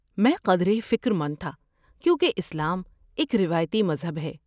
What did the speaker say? میں قدرے فکرمند تھا کیونکہ اسلام ایک روایتی مذہب ہے۔